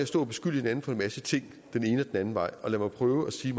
at stå og beskylde hinanden for en masse ting den ene og anden vej og lad mig prøve at sige